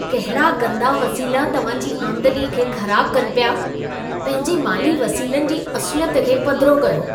कहिड़ा गंदा वसीला तव्हां जी आमदनीअ खे ख़राब कनि पिया? पंहिंजे माली वसीलनि जी असुलियत खे पधिरो कयो।